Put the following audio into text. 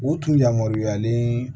U tun yamaruyalen